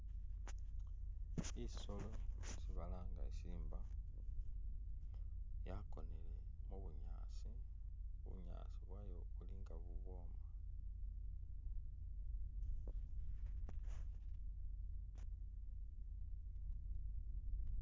Isolo isi balanga isimba yakonele mu bunyaasi, bunyaasi bwayo buli nga bubwoma